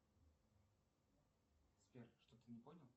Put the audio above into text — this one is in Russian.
сбер что то не понял